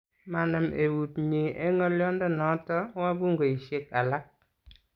manam eut nyin eng' ng'olionde noto wabungeisiek alak.